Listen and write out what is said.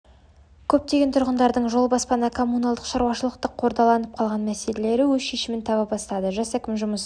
көптеген тұрғындардың жол баспана коммуналдық шаруашылықтағы қордаланып қалған мәселелері өз шешімін таба бастады жас әкім жұмыс